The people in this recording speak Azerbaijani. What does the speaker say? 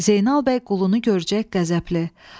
Zeynal bəy qulunu görəcək qəzəbli: